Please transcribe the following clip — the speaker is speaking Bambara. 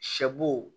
Sɛ bo